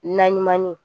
Naɲumanni